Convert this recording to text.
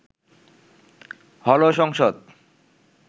হলো সংসদ